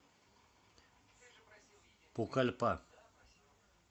пукальпа